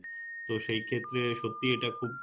তো সেই ক্ষেত্রে সত্যিই এটা খুব